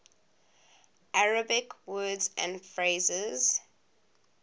arabic words and phrases